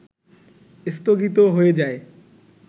স্থগিত হয়ে যায়